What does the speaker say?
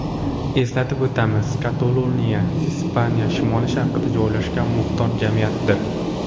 Eslatib o‘tamiz, Kataloniya Ispaniya shimoli-sharqida joylashgan muxtor jamiyatdir.